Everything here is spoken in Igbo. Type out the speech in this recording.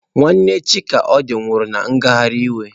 Nwanne Chikodi nwụrụ na ngagharị iwe